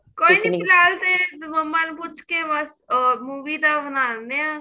ਕੋਈ ਨੀਂ ਫਿਲਹਾਲ ਤੇ ਮਮਾ ਨੂੰ ਪੁੱਛ ਕੇ ਬੱਸ ਅਹ movie ਦਾ ਬਣਾ ਨੇ ਆ